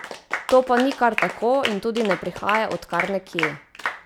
To pa ni kar tako in tudi ne prihaja od kar nekje!